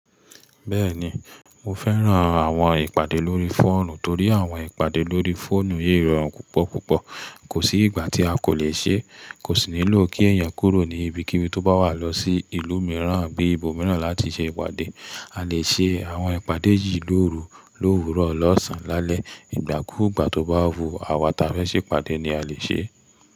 Bẹ́ẹ̀ni mo fẹ́ran àwọn ìpàdé lórí fóònù torí àwọn ìpàdé lórí fóònù yíì rọtùn púpọ̀púpọ̀. Kò sí ìgbà tí a kò le ṣe é, kò sì nílò kí èèyàn kúrò ní ibi kíbi tó bá wà lọ sí ìlú mìíràn bí i ibòmíràn láti ṣe ìpàdé. A lè ṣe àwọn ìpàdé yìí lóru lówurọ̀, lọ́sàn-án lálẹ́, ìgbàkúùgbà tó bá wu àwa ta fẹ́ ṣe ìpàdé ni a lè ṣe é.